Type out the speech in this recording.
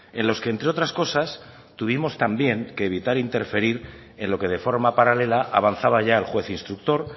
en los que entre otras cosas tuvimos también que evitar interferir en lo que de forma paralela avanzaba ya el juez instructor